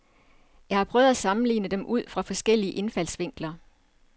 Jeg har prøvet at sammenligne dem ud fra forskellige indfaldsvinkler.